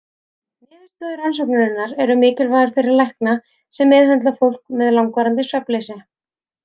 Niðurstöður rannsóknarinnar eru mikilvægar fyrir lækna sem meðhöndla fólk með langvarandi svefnleysi.